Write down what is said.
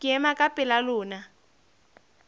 ke ema ka pela lona